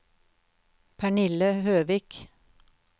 Pernille Høvik